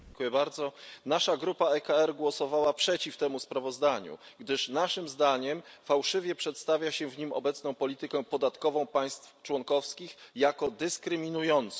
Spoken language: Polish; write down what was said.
Panie Przewodniczący! Nasza grupa ECR głosowała przeciw temu sprawozdaniu, gdyż naszym zdaniem fałszywie przedstawia się w nim obecną politykę podatkową państw członkowskich jako dyskryminującą.